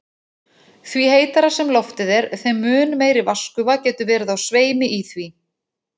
Því heitara sem loftið er, þeim mun meiri vatnsgufa getur verið á sveimi í því.